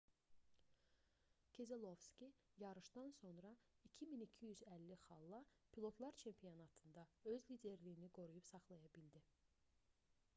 kezelovski yarışdan sonra 2250 xalla pilotlar çempionatında öz liderliyini qoruyub saxlaya bildi